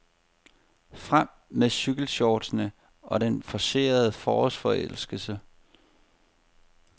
Frem med cykelshortsene og den forcerede forårsforelskelse.